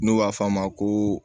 N'u b'a f'a ma ko